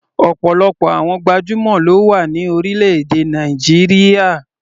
Ọ̀pọ̀lọpọ̀ àwọn gbajúmọ̀ ló wà ní orílẹ̀-èdè Nàìjíríà.